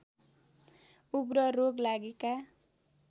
उग्र रोग लागेका